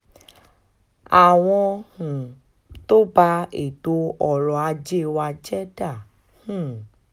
àwọn um tó bá ètò ọrọ̀ ajé wa jẹ́ dá um